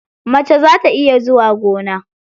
Mace za ta iya zuwa gona.